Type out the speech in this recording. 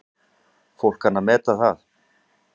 Fólk kann að meta það.